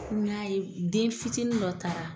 N y'a ye den fitinin dɔ taara.